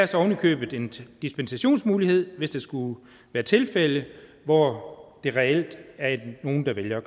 så ovenikøbet en dispensationsmulighed hvis der skulle være tilfælde hvor der reelt er nogle der vælger at